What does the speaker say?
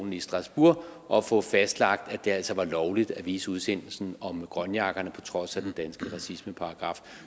i strasbourg og få fastlagt at det altså var lovligt at vise udsendelsen om grønjakkerne på trods af den danske racismeparagraf